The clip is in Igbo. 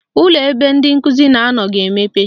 Ụlọ ebe ndị nkụzi na-anọ ga-emepe